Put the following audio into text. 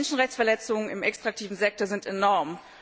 Menschenrechtsverletzungen im extraktiven Sektor sind enorm.